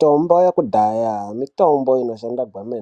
Tombo yekudhaya mitombo inoshanda kwemne